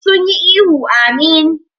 Duk sun yi ihu "Ameen".